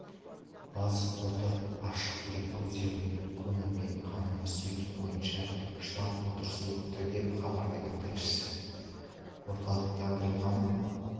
бас фото ашық дерек көздерінен көмірмен қамтамасыз ету бойынша штаб отырысы өтті деп хабарлайды тілшісі орталықтандырылған